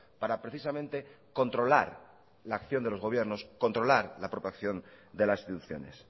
para precisamente controlar la acción de los gobiernos controlar la protección de las instituciones